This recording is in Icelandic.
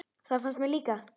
Það fannst mér líka.